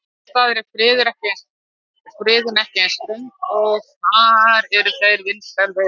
Annars staðar er friðun ekki eins ströng og þar eru þeir vinsæl veiðibráð.